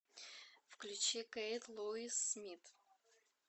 включи кэйт луис смит